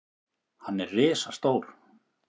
Hann er risastór.